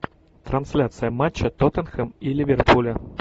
трансляция матча тоттенхэм и ливерпуля